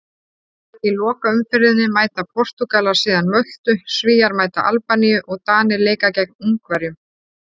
Í lokaumferðinni mæta Portúgalar síðan Möltu, Svíar mæta Albaníu og Danir leika gegn Ungverjum.